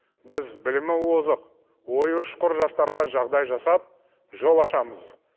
біз білімі озық ойы ұшқыр жастарға жағдай жасап жол ашамыз